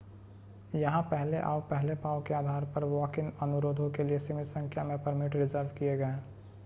यहां पहले आओ पहले पाओ के आधार पर वॉक-इन अनुरोधों के लिए सीमित संख्या में परमिट रिज़र्व किए गए हैं